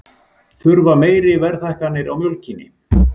Þurfa meiri verðhækkanir á mjólkinni